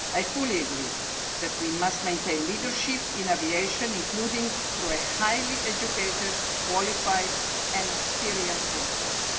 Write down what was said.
I fully agree that we must maintain leadership in aviation, including through a highly educated, qualified and experienced workforce.